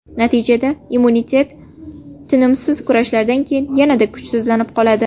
Natijada immunitet tinimsiz kurashlardan keyin yanada kuchsizlanib qoladi.